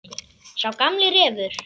Sá gamli refur.